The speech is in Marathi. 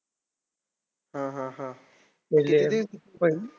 हा हा हा तिसरी पहिली.